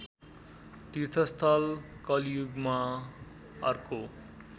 तीर्थस्थल कलियुगमा अर्को